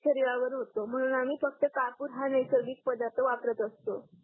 शरीरावर होतो म्हणून आम्ही फक्त कापूर हा नैसर्गिक पदार्थ वापरत असतो.